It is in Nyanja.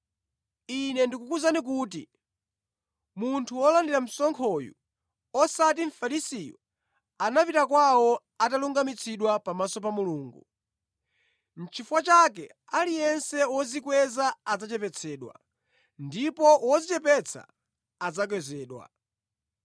“Ine ndikukuwuzani kuti munthu wolandira msonkhoyu, osati Mfarisiyu, anapita kwawo atalungamitsidwa pamaso pa Mulungu. Chifukwa chake, aliyense wodzikweza adzachepetsedwa, ndipo wodzichepetsa adzakwezedwa.”